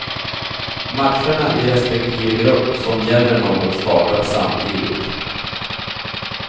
Matcherna i respektive grupp som gäller något startar samtidigt.